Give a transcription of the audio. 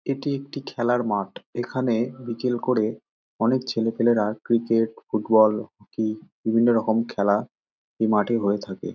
এটি একটি খেলার মাঠ এখানে বিকেল করে অনেক ছেলেপেলেরা ক্রিকেট ফুটবল হকি বিভিন্ন রকম খেলা মাঠে হয়ে থাকে।